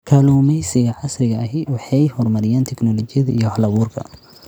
Kalluumaysiga casriga ahi waxa ay horumariyaan tignoolajiyada iyo hal-abuurka.